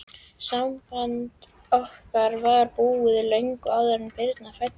Samband okkar var búið, löngu áður en Birna fæddist.